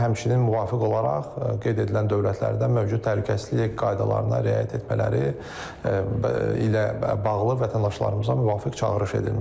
Həmçinin müvafiq olaraq qeyd edilən dövlətlərdə mövcud təhlükəsizlik qaydalarına riayət etmələri ilə bağlı vətəndaşlarımıza müvafiq çağırış edilmişdir.